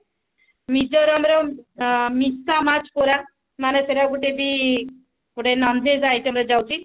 ନିଜର ଆମର ମିଶା ମାଛ କୋରା ମାନେ ସେଟା ଗୋଟେ ବି ଗୋଟେ non veg item ରେ ଯାଉଛି